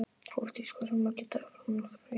Hofdís, hversu margir dagar fram að næsta fríi?